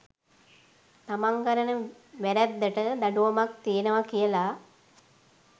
තමන් කරන වැරැද්දට දඩුවමක් තියෙනවා කියල